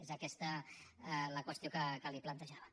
és aquesta la qüestió que li plantejava